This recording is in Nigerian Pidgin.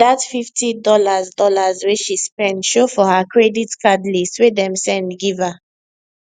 that fifty dollars dollars wey she spend show for her credit card list wey dem send give her